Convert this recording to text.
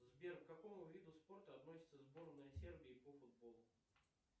сбер к какому виду спорта относится сборная сербии по футболу